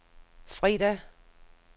fredag